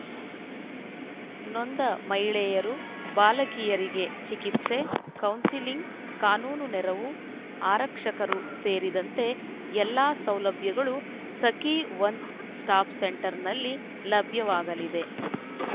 ನೊಂದ ಮಹಿಳೆಯರು ಬಾಲಕಿಯರಿಗೆ ಚಿಕಿತ್ಸೆ ಕೌನ್ಸಿಲಿಂಗ್‌ ಕಾನೂನು ನೆರವು ಆರಕ್ಷಕರೂ ಸೇರಿದಂತೆ ಎಲ್ಲಾ ಸೌಲಭ್ಯಗಳೂ ಸಖೀ ಒನ್ಸ್‌ ಸ್ಟಾಪ್‌ ಸೆಂಟರ್‌ನಲ್ಲಿ ಲಭ್ಯವಾಗಲಿದೆ